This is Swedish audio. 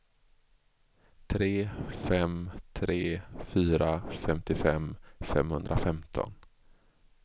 tre fem tre fyra femtiofem femhundrafemton